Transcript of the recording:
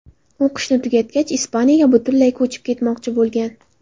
O‘qishni tugatgach Ispaniyaga butunlay ko‘chib ketmoqchi bo‘lgan.